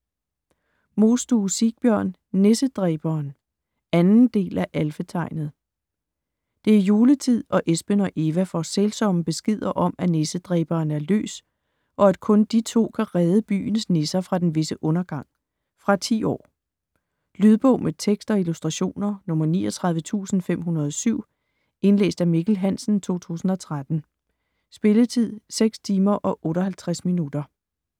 Mostue, Sigbjørn: Nissedræberen 2. del. del af Alfetegnet. Det er juletid og Espen og Eva får sælsomme beskeder om at Nissedræberen er løs, og at kun de to kan redde byens nisser fra den visse undergang. Fra 10 år. Lydbog med tekst og illustrationer 39507 Indlæst af Mikkel Hansen, 2013. Spilletid: 6 timer, 58 minutter.